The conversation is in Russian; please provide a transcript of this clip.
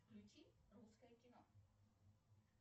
включи русское кино